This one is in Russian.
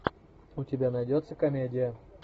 у тебя найдется комедия